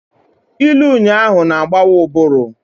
Ilu ụnyahụ na-agbawa ụbụrụ.